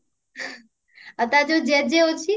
ଆଉ ତାର ଯଉ ଜେଜେ ଅଛି